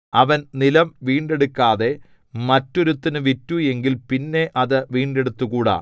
അവൻ നിലം വീണ്ടെടുക്കാതെ മറ്റൊരുത്തനു വിറ്റു എങ്കിൽ പിന്നെ അത് വീണ്ടെടുത്തുകൂടാ